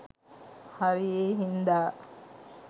හරි ඒ හින්දා